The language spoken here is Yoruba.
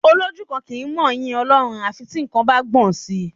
Olójú kan kì í mọ yí Ọlọ́run à fi tí nǹkan bá gbọn sì.